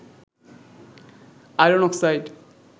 iron oxide